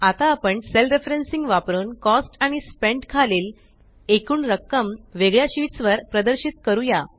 आता आपण cell referencing वापरुन कॉस्ट आणि स्पेंट खालील एकूण रक्कम वेगळ्या शीट्स वर प्रदर्शित करूया